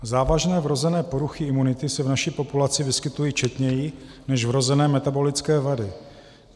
Závažné vrozené poruchy imunity se v naší populaci vyskytují četněji než vrozené metabolické vady.